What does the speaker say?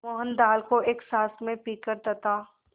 मोहन दाल को एक साँस में पीकर तथा